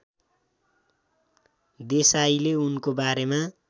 देसाईले उनको बारेमा